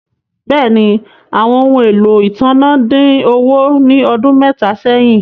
Bẹ́ẹ̀ni, àwọn ọhun ẹ̀lọ́ ìtànà dín owo ni ọdún mẹta sẹ́hìn